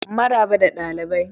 Maraba da dalibai.